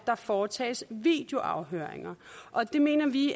der foretages videoafhøringer og det mener vi